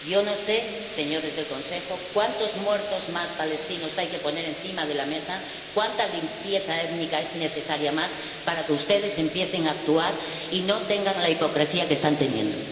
Yo no sé, señores del Consejo, cuántos muertos palestinos más hay que poner encima de la mesa, cuánta limpieza étnica más es necesaria para que ustedes empiecen a actuar y no tengan la hipocresía que están teniendo.